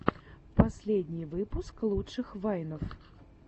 последний выпуск лучших вайнов